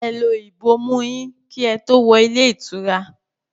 Ẹ lo ìbomú ú yín kí ẹ tó wọ ilé ìtura!